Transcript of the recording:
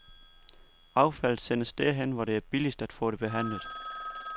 Affaldet sendes derhen, hvor det er billigst at få det behandlet.